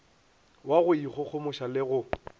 wa go ikgogomoša le go